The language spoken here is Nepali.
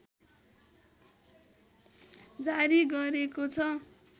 जारी गरेको छ